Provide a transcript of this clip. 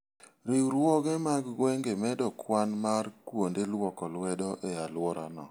Riwruoge mag gwenge medo kwan mar kuonde lwoko lwedo e alworano.